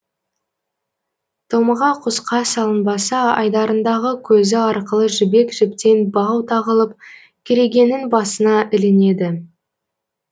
томаға құсқа салынбаса айдарындағы көзі арқылы жібек жіптен бау тағылып керегенің басына ілінеді